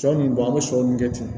Sɔ nin don an bɛ sɔ min kɛ ten